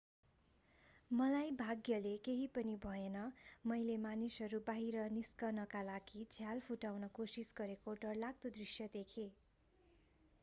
मलाई भाग्यले केहि पनि भएन मैले मानिसहरू बाहिर निस्कनका लागि झ्याल फुटाउन कोशिस गरेको डरलाग्दो दृश्य देखे